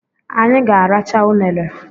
Anyị ga-arachaa unere